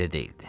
Belə deyildi.